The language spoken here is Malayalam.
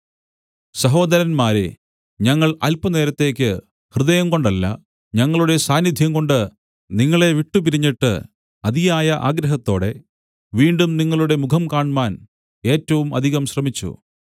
സഹോദരന്മാരേ ഞങ്ങൾ അല്പനേരത്തേക്ക് ഹൃദയംകൊണ്ടല്ല ഞങ്ങളുടെ സാന്നിദ്ധ്യംകൊണ്ട് നിങ്ങളെ വിട്ടുപിരിഞ്ഞിട്ട് അതിയായ ആഗ്രഹത്തോടെ വീണ്ടും നിങ്ങളുടെ മുഖം കാണ്മാൻ ഏറ്റവും അധികം ശ്രമിച്ചു